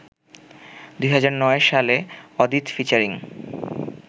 ২০০৯ সালে অদিত ফিচারিং